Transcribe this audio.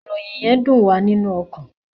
Ìròyìn yén dùn wá nínú ọkan